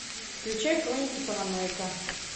включай хроники параноика